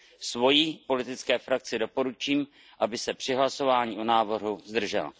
Svojí politické frakci doporučím, aby se při hlasování o návrhu zdržela.